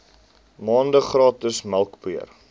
maande gratis melkpoeier